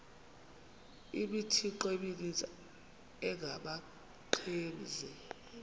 imithqtho emininzi engabaqbenzi